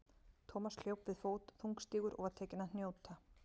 Thomas hljóp við fót, þungstígur og var tekinn að hnjóta.